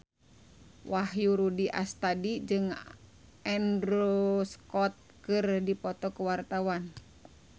Wahyu Rudi Astadi jeung Andrew Scott keur dipoto ku wartawan